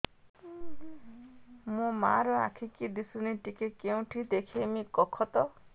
ମୋ ମା ର ଆଖି କି ଦିସୁନି ଟିକେ କେଉଁଠି ଦେଖେଇମି କଖତ